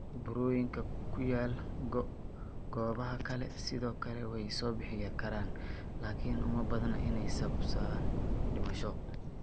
Burooyinka ku yaal goobaha kale sidoo kale way soo bixi karaan, laakiin uma badna inay sababaan dhimasho.